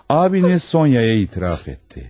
Abiniz Sonyaya itiraf etdi.